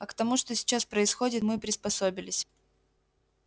а к тому что сейчас происходит мы приспособились